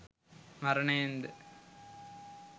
මරණයෙන් ද